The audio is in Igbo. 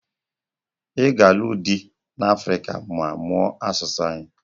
Ị ga alụ dị n'Africa ma mụọ asụsụ anyị